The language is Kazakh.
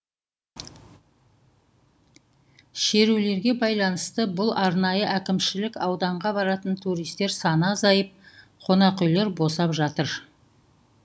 шерулерге байланысты бұл арнайы әкімшілік ауданға баратын туристер саны азайып қонақүйлер босап жатыр